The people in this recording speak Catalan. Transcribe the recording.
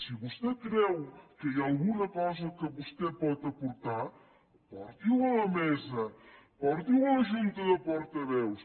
si vostè creu que hi ha alguna cosa que vostè pot aportar porti ho a la mesa porti ho a la junta de portaveus